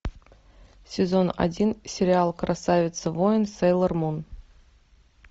сезон один сериал красавица воин сейлор мун